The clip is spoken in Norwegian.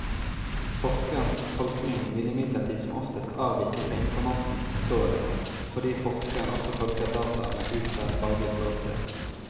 Forskerens tolkning vil imidlertid som oftest avvike fra informantens forståelse, fordi forskeren også tolker dataene ut fra et faglig ståsted.